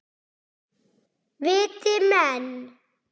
Viti menn!